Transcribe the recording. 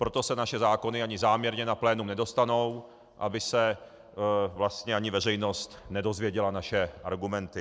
Proto se naše zákony ani záměrně na plénum nedostanou, aby se vlastně ani veřejnost nedozvěděla naše argumenty.